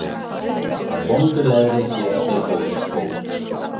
Af vondu leðri gerast ei góðir skór.